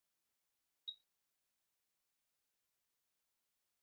Shiga cikin ayyukan da suka dace da shekaru waɗanda ke haɓaka haɗin kai da haɓaka al'umma.